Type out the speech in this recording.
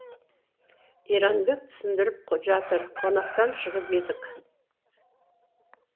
иранбек түсіндіріп жатыр қонақтан шығып едік